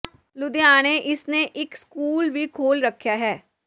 ਲੁਧਿਆਣੇ ਇਸ ਨੇ ਇੱਕ ਸਕੂਲ ਵੀ ਖੋਹਲ ਰੱਖਿਆ ਹੈ